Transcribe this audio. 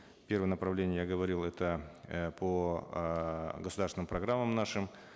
первое направление я говорил это э по э государственным программам нашим